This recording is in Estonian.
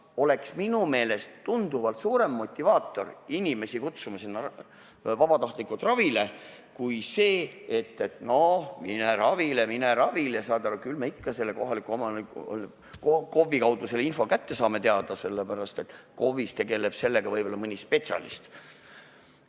See oleks minu meelest tunduvalt suurem motivaator, et saada inimesi vabatahtlikult ravile, kui see, et noh, mine ravile, mine ravile, saad aru, küll me ikka KOV-i kaudu selle info teada saame, sest KOV-is tegeleb sellega võib-olla mõni spetsialist.